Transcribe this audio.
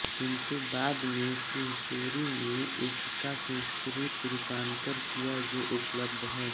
किन्तु बाद में सिंहसूरि ने इसका संस्कृत रूपान्तर किया जो उपलब्ध है